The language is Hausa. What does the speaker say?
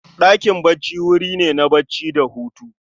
Ɗakin bacci wuri ne na bacci da Hutu